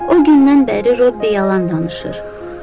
O gündən bəri Robbi yalan danışır.